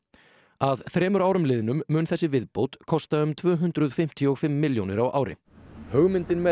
að þremur árum liðnum mun þessi viðbót kosta um tvö hundruð fimmtíu og fimm milljónir á ári hugmyndin með